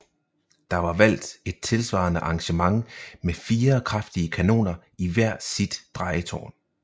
Der var valgt et tilsvarende arrangement med fire kraftige kanoner i hvert sit drejetårn